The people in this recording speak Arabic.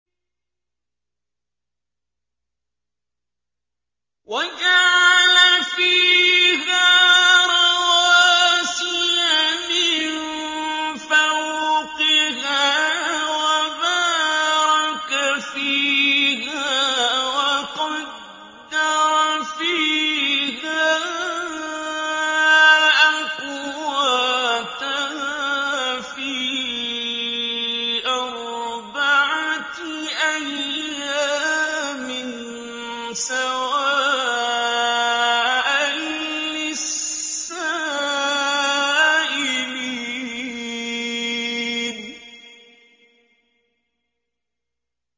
وَجَعَلَ فِيهَا رَوَاسِيَ مِن فَوْقِهَا وَبَارَكَ فِيهَا وَقَدَّرَ فِيهَا أَقْوَاتَهَا فِي أَرْبَعَةِ أَيَّامٍ سَوَاءً لِّلسَّائِلِينَ